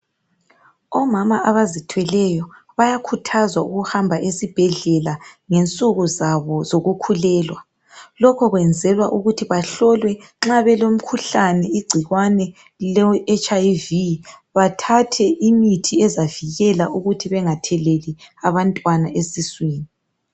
Omama abazithweleyo bayakhuthazwa ukuhamba esibhedlela ngensuku zabo zokukhulelwa lokho kwenzelwa ukuthi bahlolwe nxa belomkhuhlane igcikwane le hiv bathathe imithi ezavikela ukuthi bengatheleli abantwana esiswini